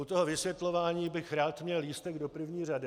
U toho vysvětlování bych rád měl lístek do první řady.